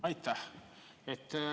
Aitäh!